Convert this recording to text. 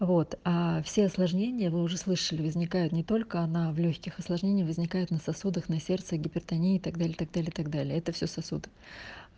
вот а все осложнения вы уже слышали возникают не только на в лёгких осложнения возникают на сосудах на сердце гипертония и так далее так далее так далее это все сосуд